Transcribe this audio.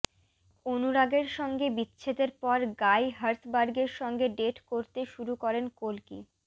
অনুরাগের সঙ্গে বিচ্ছেদের পর গাই হার্সবার্গের সঙ্গে ডেট করতে শুরু করেন কল্কি